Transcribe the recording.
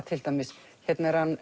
til dæmis hérna er hann